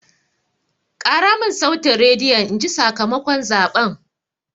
Ƙara mun sautin rediyon inji sakamakon zaɓen!